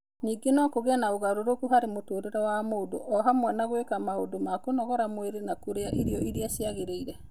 Ningĩ no kũgĩe na ũgarũrũku harĩ mũtũũrĩre wa mũndũ, o hamwe na gwĩka maũndũ ma kũnogora mwĩrĩ na kũrĩa irio iria ciagĩrĩire.